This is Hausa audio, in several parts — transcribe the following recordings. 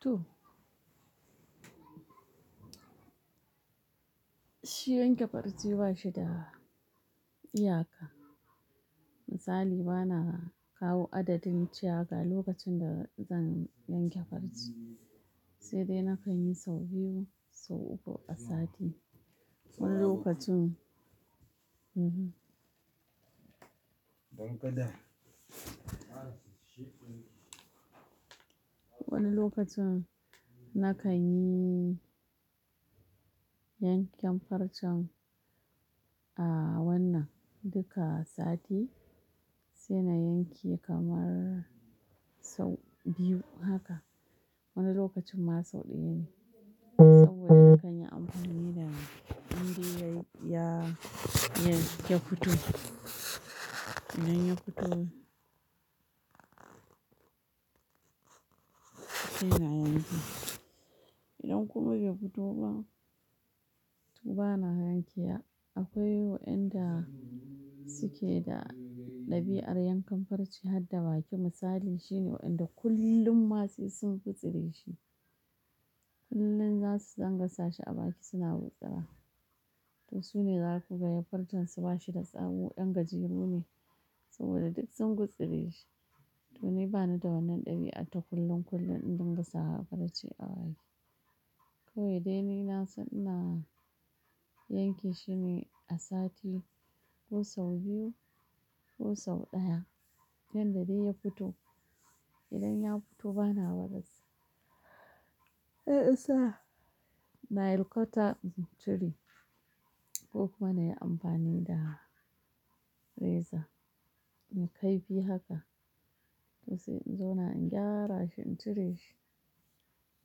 To. Shi yanke farce ba shi da iyaka. Misali, bana kawo adadin cewa ga lokacin da zan yanke farce. Sai dai nakan yi sau biyu, sau uku a sati. Wani lokacin Mhm. Wani lokacin nakan yi yankan farcen a wannan duka sati, sai na yanke kamar sau biyu haka. Wani lokacin ma sau ɗaya ne. Saboda nakan yi amfani da, indai ya ya, ya, ya fito. Idan ya fito sai na yanke. Idan kuma bai fito ba, to bana yanke wa. Akwai waɗanda suke da ɗabi'ar yankan farce har da baki. Misali shine waɗanda kullum ma sai sun gutsire shi. Kullum za su dinga sa shi a baki suna gutsira. To su ne zaka ga farcen su ba shi da tsawo, 'yan gajeru ne saboda duk sun gutsire shi. To ni bani da wannan ɗabi'ar ta kullum, kullum in dinga sa farce a baki. Kawai dai ni na san ina yanke shine a sati ko sau biyu, ko sau ɗaya, yanda dai ya fito. Idan ya fito bana wadatar. Nail cutter in cire, ko kuma na yi amfani da reza. Mai kaifi haka. To sai in zauna in gyara shi, in cire shi.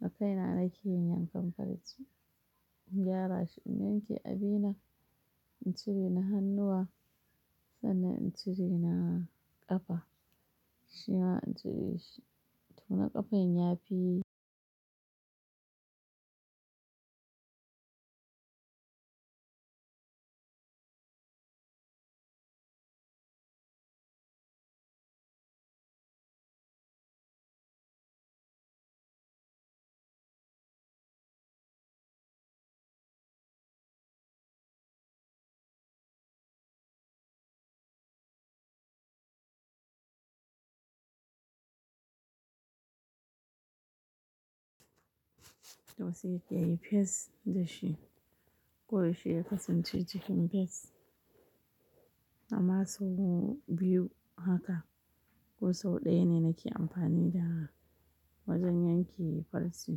Da kaina nake yin yankan farce. In gyara shi, in yanke abi na, in cire na hannuwa, sannan in cire na ƙafa. Shi ma in cire shi. To na ƙafan ya fi to sai ya yi fes da shi. Ko yaushe ya kasance cikin fes. Amma sau biyu haka, ko sau ɗaya ne nake amfani da wajen yanke farce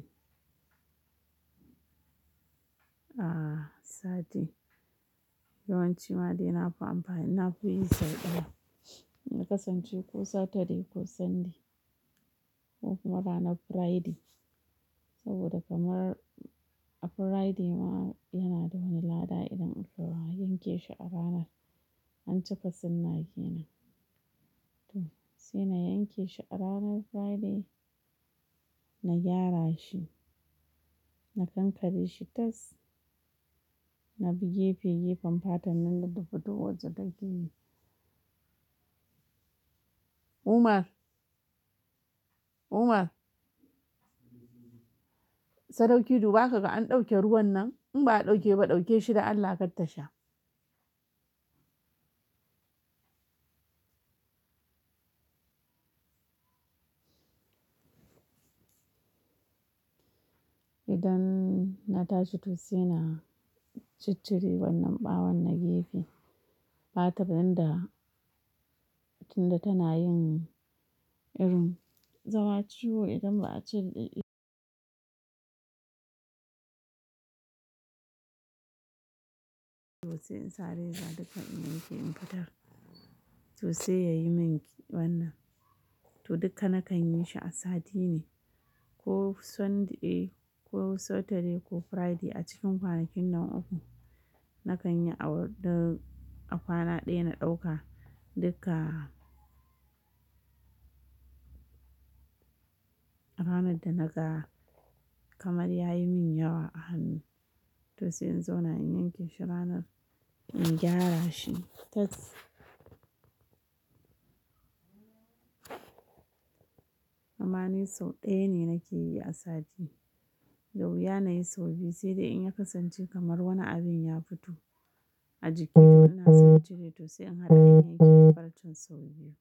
a sati. Yawanci ma dai na fi amfani, na fi yi sau ɗaya. Na kasance ko Saturday, ko Sunday, ko kuma ranar Friday. Saboda kamar a Friday ma yana da wani lada idan aka yanke shi a ranar, an cika sunna kenan. To sai na yanke shi a ranar Friday, na gyara shi, na kankare shi tas. Na bi gefe-gefen fatar nan da ta fito waje da ke yi. Umar! Umar! Sadauki dubakaka in ɗauke ruwan nan. In ba a ɗauke ba, ɗauke shi da Allah kar tasha. Idan na tashi to sai na ciccire wannan ɓawon na gefe. Fatar nan da tunda tana yin irin. Zama ciwo idan ba a cire to sai in sa reza duka in yanke in fitar. To sai ya yi min wannan. To dukka nakan yi shi a sati ne. Ko Sunday, ko Saturday, ko Friday a cikin kwanakin nan uku. Nakan yi a wad-- a kwana ɗaya na ɗauka duk a a ranar da na ga kamar ya yi min yawa a hannu. To sai in zo na yanke shi ranar, in gyara shi tas. Amma ni sau ɗaya ne nake yi a sati. Da wuya na yi sau biyu, sai dai in ya kasance kamar wani abin ya fito a jiki, to ina son ture. To sai in haɗa in yanke farcen sau biyu.